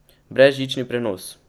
Brezžični prenos.